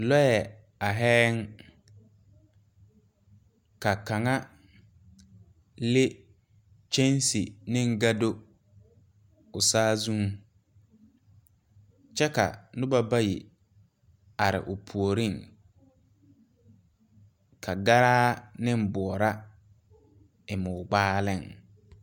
Lɔɛ aihɛɛŋ ka kaŋa le kyɛnse neŋ gado o saazuŋ kyɛ ka nobɔ bayi are o puoriŋ ka garaa neŋ boɔra eŋmo gbaaliŋ.